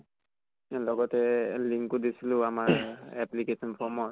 লগতে link অ দিছিলো আমাৰ application form ৰ